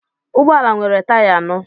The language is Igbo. Ụgbọ ala nwere taya anọ